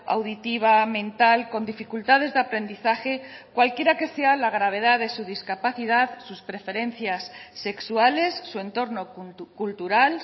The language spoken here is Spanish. auditiva mental con dificultades de aprendizaje cualquiera que sea la gravedad de su discapacidad sus preferencias sexuales su entorno cultural